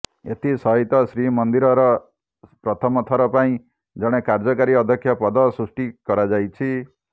ଏଥିସହିତ ଶ୍ରୀ ମନ୍ଦିର ର ପ୍ରଥମ ଥର ପାଇଁ ଜଣେ କାର୍ଯ୍ୟକାରୀ ଅଧ୍ୟକ୍ଷ ପଦ ସୃଷ୍ଟି କରାଯାଇଛି